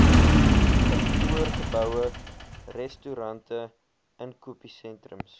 kantoorgeboue restaurante inkopiesentrums